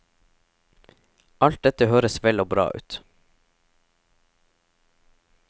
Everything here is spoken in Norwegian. Alt dette høres vel og bra ut.